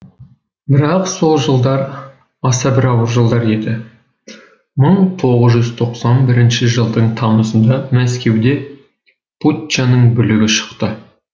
бірақ сол жылдар аса бір ауыр жылдар еді мың тоғыз жүз тоқсан бірінші жылдың тамызында мәскеуде путчаның бүлігі шықты